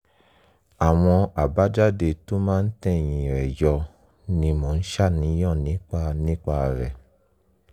àwọn àbájáde tó máa ń tẹ̀yìn rẹ̀ yọ ni mo ń ṣàníyàn nípa nípa rẹ̀